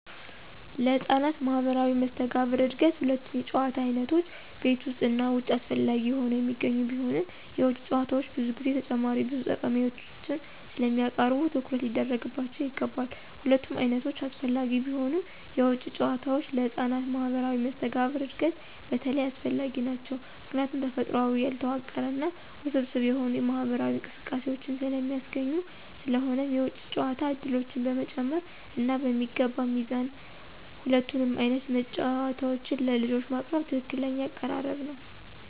ለህፃናት ማህበራዊ መስተጋብር እድገት ሁለቱም የጨዋታ ዓይነቶች (ቤት ውስጥ እና ውጭ) አስፈላጊ ሆነው የሚገኙ ቢሆንም፣ የውጭ ጨዋታዎች ብዙ ጊዜ ተጨማሪ ብዙ ጠቀሜታዎችን ስለሚያቀርቡ ትኩረት ሊደረግባቸው ይገባል። ሁለቱም ዓይነቶች አስፈላጊ ቢሆኑም፣ የውጭ ጨዋታዎች ለህፃናት ማህበራዊ መስተጋብር እድገት በተለይ አስፈላጊ ናቸው ምክንያቱም ተፈጥሯዊ፣ ያልተዋቀረ እና ውስብስብ የሆኑ ማህበራዊ እንቅስቃሴዎችን ስለሚያስገኙ። ስለሆነም የውጭ ጨዋታ ዕድሎችን በመጨመር እና በሚገባ ሚዛን ሁለቱንም ዓይነት ጨዋታዎች ለልጆች ማቅረብ ትክክለኛው አቀራረብ ነው።